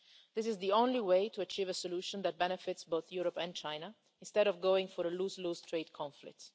fair. This is the only way to achieve a solution that benefits both Europe and China, instead of going for a lose-lose trade conflict.